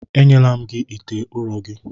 Enyela m gị ite ụrọ gị!